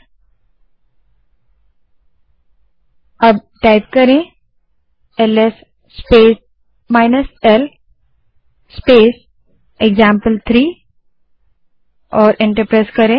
और अब LS space l space example three type करें और एंटर दबायें